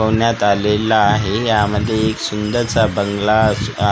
ठेवण्यात आलेला आहे यामध्ये एक सुंदरसा बंगला अस अ --